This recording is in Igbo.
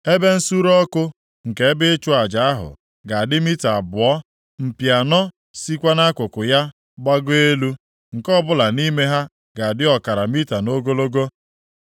Ebe nsure ọkụ nke ebe ịchụ aja ahụ ga-adị mita abụọ, mpi anọ sikwa nʼakụkụ ya gbagoo elu, nke ọbụla nʼime ha ga-adị ọkara mita nʼogologo.